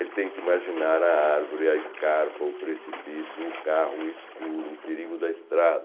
Ele tem que imaginar a árvore, a escarpa, o precipício, o carro escuro, o perigo da estrada.